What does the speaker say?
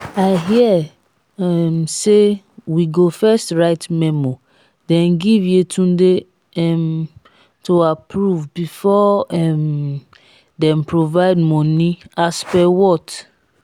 i hear um say we go first write memo den give yetunde um to approve before um dem provide money as per what?